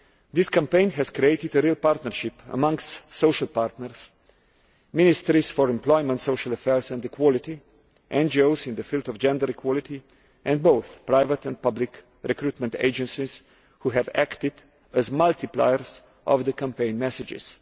This campaign has created a real partnership amongst social partners ministries for employment, social affairs and equality, NGOs in the field of gender equality, and both private and public recruitment agencies who have acted as multipliers of the campaign messages.